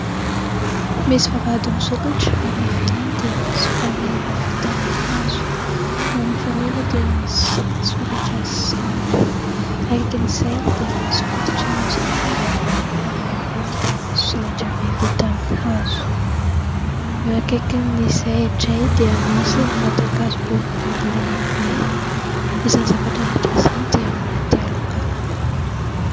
Misy vavahady misokatra, ary eo ivelany dia misy faneva vita amin'ny hazo. Eo amin'ny faneva dia misy soratra sy sary. Akaikin' izay dia misy fototry ny hazo lehibe iray ary eo amboniny dia misy solaitra be vita amin'ny hazo. Eo akaikin' izay indray dia misy ny vatan- kazo boribory lehibe. Izany zavatra rehetra izany dia ao anaty alokaloka.